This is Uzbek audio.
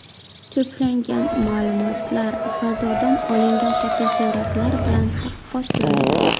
To‘plangan ma’lumotlar fazodan olingan fotosuratlar bilan taqqoslandi.